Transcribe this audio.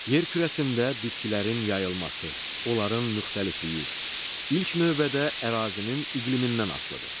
Yer kürəsində bitkilərin yayılması, onların müxtəlifliyi ilk növbədə ərazinin iqlimindən asılıdır.